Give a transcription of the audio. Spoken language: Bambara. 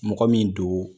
Mɔgɔ min don